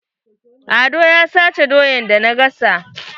Ado ya sace doyan da na gasa.